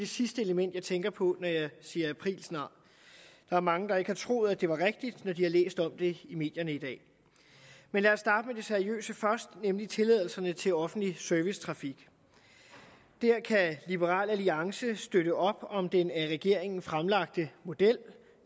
sidste element jeg tænker på når jeg siger aprilsnar der er mange der ikke har troet at det var rigtigt når de har læst om det i medierne i dag man lad os starte med det seriøse først nemlig tilladelserne til offentlig servicetrafik der kan liberal alliance støtte op om den af regeringen fremlagte model